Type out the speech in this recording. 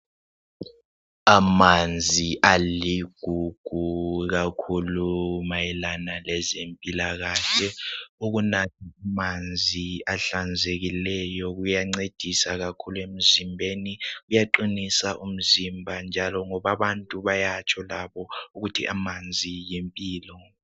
amanzi aligugu kakhulu mayelana lezempilakhle ukunatha manzi ahlanzekileyo kuyancedisa kakhulu emzimbeni kuyaqinisa umzimba ngoba abantu bayatsho labo ukuthi amanzi yimpilo